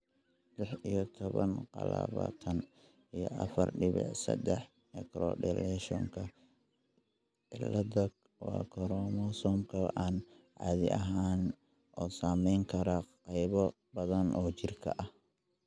lix iyo toban q labataan iyo afaar dibic sedax microdeletionka ciladha waa koromosoomka aan caadi ahayn oo saameyn kara qaybo badan oo jirka ah.